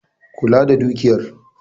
Kula da dukiyar